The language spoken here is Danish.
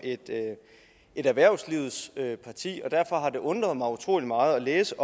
erhvervslivets parti og derfor har det undret mig utrolig meget at læse